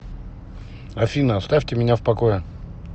афина оставьте меня в покое